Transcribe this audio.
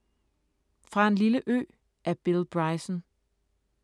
Fra en lille ø af Bill Bryson